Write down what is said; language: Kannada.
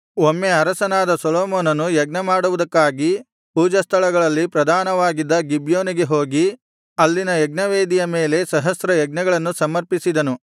ಒಮ್ಮೆ ಅರಸನಾದ ಸೊಲೊಮೋನನು ಯಜ್ಞಮಾಡುವುದಕ್ಕಾಗಿ ಪೂಜಾಸ್ಥಳಗಳಲ್ಲಿ ಪ್ರಧಾನವಾಗಿದ್ದ ಗಿಬ್ಯೋನಿಗೆ ಹೋಗಿ ಅಲ್ಲಿನ ಯಜ್ಞವೇದಿಯ ಮೇಲೆ ಸಹಸ್ರ ಯಜ್ಞಗಳನ್ನು ಸಮರ್ಪಿಸಿದನು